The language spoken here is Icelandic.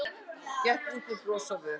Gekk út með bros á vör.